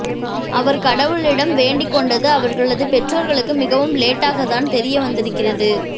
அவர் கடவுளிடம் வேண்டுகொண்டது அவர்களது பெற்றோர்களுக்கு மிகவும் லேட்டாக தான் தெரிய வந்திருக்கிறது